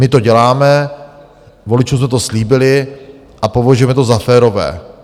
My to děláme, voličům jsme to slíbili a považujeme to za férové.